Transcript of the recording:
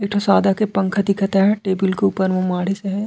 एक ठो सादा के पंखा दिखत हे टेबल के ऊपर मे माड़ीस आहे।